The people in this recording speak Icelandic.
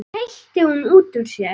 hreytti hún út úr sér.